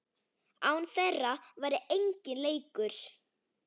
Án þeirra væri enginn leikur.